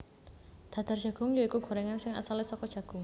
Dadar Jagung ya iku gorengan sing asale saka jagung